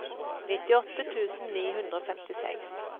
nittiåtte tusen ni hundre og femtiseks